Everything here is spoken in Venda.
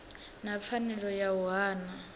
na pfanelo ya u hana